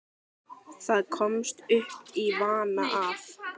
Það komst upp í vana að